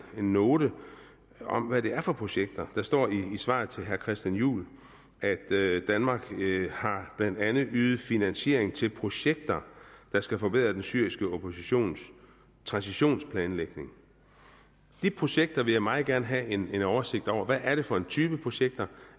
note om hvad det er for projekter der står i svaret til herre christian juhl at at danmark blandt andet har ydet finansiering til projekter der skal forbedre den syriske oppositions transitionsplanlægning de projekter vil jeg meget gerne have en oversigt over hvad er det for en type projekter